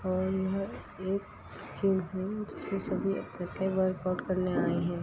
और यह एक जिम है जिसमें सभी इकठे वर्कआउट करने आए हैं।